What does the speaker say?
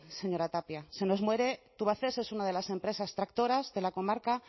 señora tapia se nos muere tubacex es una de las empresas tractoras de la comarca